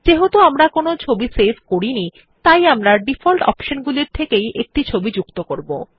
যেহেতু আমরা কোনো ছবি সেভ করিনি তাই আমরা ডিফল্ট অপশন গুলির থেকেই একটি ছবি যুক্ত করবো